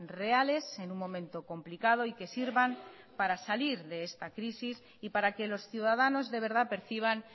reales en un momento complicado y que sirvan para salir de esta crisis y para que los ciudadanos de verdad perciban